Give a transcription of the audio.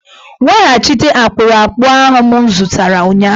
Weghachite akpụrụakpụ ahụ m zụtara ụnyahụ!